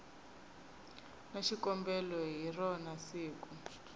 na xikombelo hi rona siku